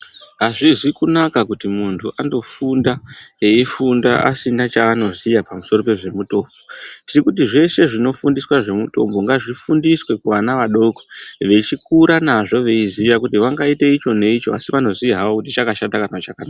Azvizi kunaka kuti muntu andofunda eifunda asina chaanoziya pamusoro pezvemutombo, tiri kuti zveshe zvinofundiswa zvemitombo ngazvifundiswe kuvana vadoko vechikura nazvo veiziya kuti vangaite icho neicho asi vanoziya havo kuti chakashata kana chakanaka.